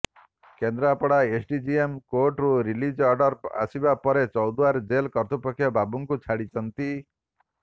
Kendrapara SDJM କୋର୍ଟରୁ release order ଆସିବା ପରେ ଚୌଦ୍ୱାର ଜେଲ କର୍ତ୍ତୃପକ୍ଷ ବାବାଙ୍କୁ ଛାଡିଛନ୍ତି